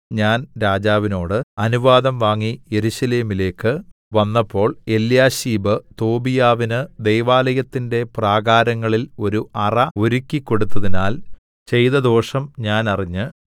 ഞാൻ രാജാവിനോട് അനുവാദം വാങ്ങി യെരൂശലേമിലേക്ക് വന്നപ്പോൾ എല്യാശീബ് തോബീയാവിന് ദൈവാലയത്തിന്റെ പ്രാകാരങ്ങളിൽ ഒരു അറ ഒരുക്കിക്കൊടുത്തതിനാൽ ചെയ്ത ദോഷം ഞാൻ അറിഞ്ഞ്